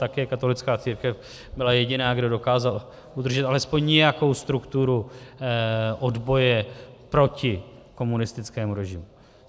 Také katolická církev byla jediná, kdo dokázal udržet alespoň nějakou strukturu odboje proti komunistickému režimu.